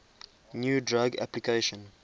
new drug application